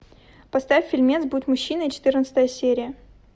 поставь фильмец будь мужчиной четырнадцатая серия